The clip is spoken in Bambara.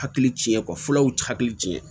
Hakili ci kɔ furaw ti hakili cin